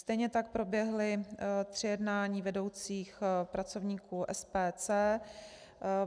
Stejně tak proběhly tři jednání vedoucích pracovníků SPC.